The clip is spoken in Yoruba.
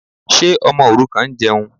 Ṣé ọmọ òrukàn ń jẹun?